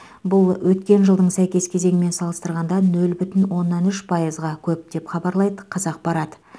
бұл өткен жылдың сәйкес кезеңімен салыстырғанда нөл бүтін оннан үш пайызға көп деп хабарлайды қазақпарат